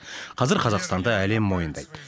қазір қазақстанды әлем мойындайды